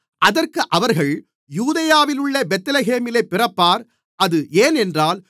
அதற்கு அவர்கள் யூதேயாவிலுள்ள பெத்லகேமிலே பிறப்பார் அது ஏனென்றால்